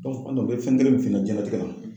o bɛ fɛn kelen min f'i ɲɛna diɲɛnatigɛ la